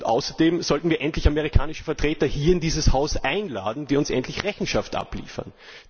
Außerdem sollten wir endlich amerikanische Vertreter in dieses Haus einladen, damit sie uns endlich Rechenschaft abliefern.